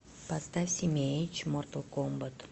поставь симиэйч мортал комбат